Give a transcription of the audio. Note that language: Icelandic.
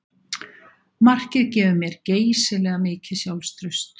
Markið gefur mér geysilega mikið sjálfstraust